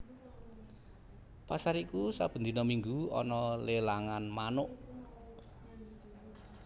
Pasar iku saben dina minggu ana lelangan manuk